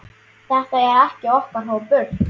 Þetta er okkar hópur.